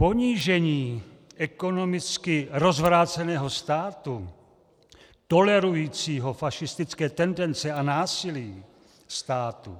Ponížení ekonomicky rozvráceného státu tolerujícího fašistické tendence a násilí, státu,